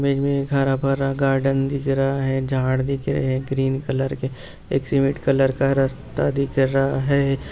Image में हरा-भरा garden दिख रहा है झाड़ दिख रहे हैं ग्रीन कलर के एक सीमेंट कलर का रस्ता दिख रहा है।